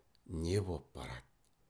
не боп барады